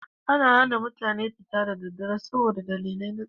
Ana hana mutane fita da daddare saboda dalilai na tsaro.